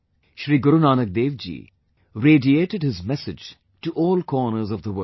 Sri Guru Nanak Dev ji radiated his message to all corners of the world